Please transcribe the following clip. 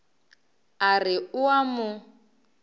a re o a mo